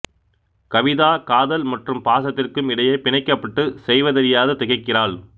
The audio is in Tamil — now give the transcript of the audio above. கவிதா காதல் மற்றும் பாசத்திற்கும் இடையே பிணைக்கப்பட்டு செய்வதறியாது திகைக்கிறாள்